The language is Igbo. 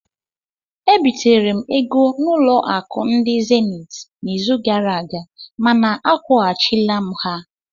Ebitere m ego n'ụlọ akụ ndị zenit n'izu gara aga mana akwụghachila m ha